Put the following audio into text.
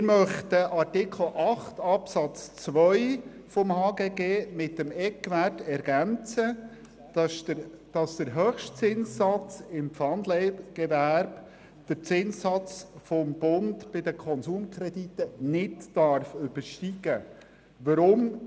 Wir möchten Artikel 8 Absatz 2 HGG mit dem Eckwert ergänzen, wonach der Höchstzinssatz im Pfandleihgewerbe den Zinssatz des Bundes für Konsumkredite nicht übersteigen darf.